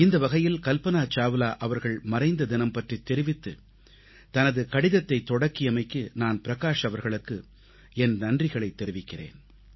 இந்த வகையில் கல்பனா சாவ்லா அவர்கள் மறைந்த தினம் பற்றித் தெரிவித்துத் தனது கடிதத்தைத் தொடக்கியமைக்கு நான் பிரகாஷ் அவர்களுக்கு என் நன்றிகளைத் தெரிவிக்கிறேன்